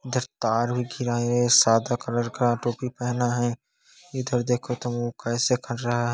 इधर तार भी घीरा हैं सादा कलर का टोपी पहना है इधर देखो तो वो कैसा कर रहा है।